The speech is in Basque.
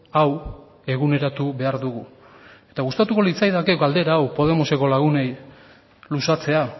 hau eguneratu behar du gustatuko litzaidake galdera hau podemoseko lagunei luzatzea